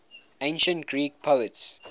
ancient greek poets